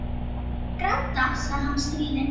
Ertu að fara að gráta? sagði hann stríðinn.